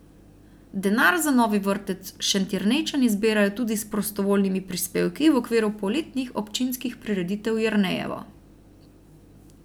Denar za novi vrtec Šentjernejčani zbirajo tudi s prostovoljnimi prispevki v okviru poletnih občinskih prireditev Jernejevo.